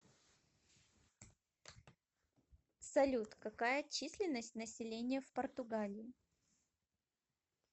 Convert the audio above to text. салют какая численность населения в португалии